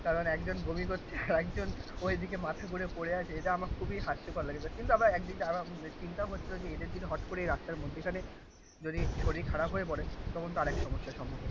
কারণ একজন বমি করছে আর একজন ওই দিকে মাথা ঘুরে পড়ে আছে এটা আমার খুবই হাস্যকর লাগে কিন্তু আমরা একদিক দিয়ে চিন্তাও হচ্ছিলো যে এদের যদি হট করে এই রাস্তার মধ্যিখানে যদি শরীর খারাপ হয়ে পড়ে তখন তার এক সমস্যার সম্মুখীন